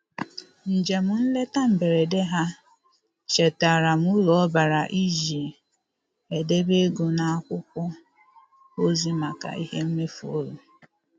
Njem nleta mberede ha chetaara m uru ọ bara iji edebe ego n'akwụkwọ ozi maka ihe mmefu ụlọ.